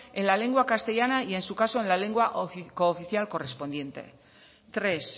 en la lengua castellana y en su caso en la legua cooficial correspondiente tres